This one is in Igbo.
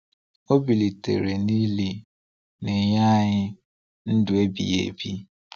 Ọ bilitere n’ili, na-enye anyị ndụ ebighị ebi.